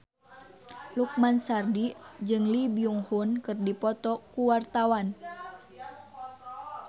Lukman Sardi jeung Lee Byung Hun keur dipoto ku wartawan